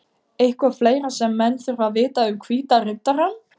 Eitthvað fleira sem menn þurfa að vita um Hvíta Riddarann?